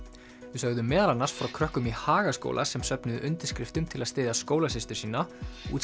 við sögðum meðal annars frá krökkum í Hagaskóla sem söfuðu undirskriftum til að styðja skólasystur sína